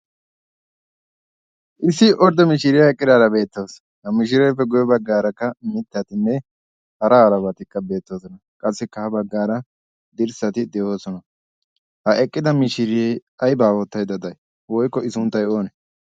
issi ordde mishiiriyaa eqqidaara beettaos ha mishireeppe goye baggaarakka mittatinne hara arabaatikka beettoosona qassikka ha baggaara dirssati de7oosona ha eqqida mishiriyae ai baawoottaida dai woikko i sunttai oonee